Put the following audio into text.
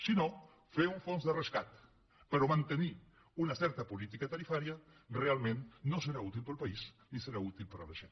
si no fer un fons de rescat però mantenir una certa política tarifària realment no serà útil per al país ni serà útil per a la gent